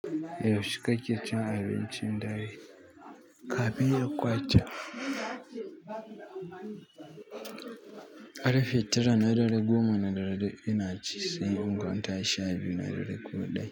Yaushe kake cin abincin dare? Kafin ya ƙwace. Ƙarfe tara na dare, goma, na dare ina ji, sai in kwanta sha biyu, na dare ko ɗaya.